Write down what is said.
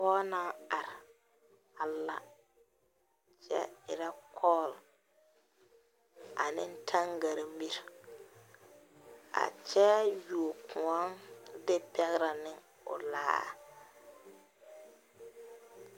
Poɔ nang arẽ a la kye irɛ kall ane tangari miri a kye yuo koun de pɛgrɛ ne ɔ laare.